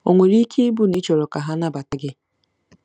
O nwere ike ịbụ na ị chọrọ ka ha nabata gị?